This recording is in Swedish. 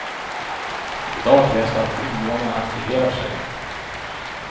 I dag krävs det att invånarna aktiverar sig.